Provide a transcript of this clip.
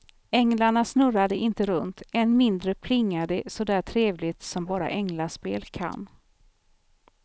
Änglarna snurrade inte runt, än mindre plingade det så där trevligt som bara änglaspel kan.